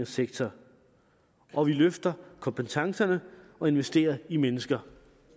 sektor hvor vi løfter kompetencerne og investerer i mennesker